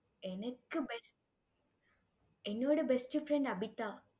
எனக்கு best என்னோட best friend Abitha.